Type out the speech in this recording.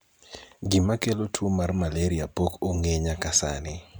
gima kelo tuo mar maleria pok ong'e nyaka sani